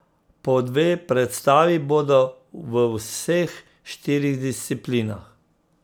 Po dve predstavi bodo v vseh štirih disciplinah.